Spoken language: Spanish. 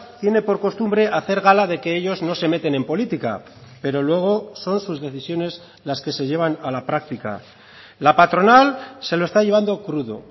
tiene por costumbre hacer gala de que ellos no se meten en política pero luego son sus decisiones las que se llevan a la práctica la patronal se lo está llevando crudo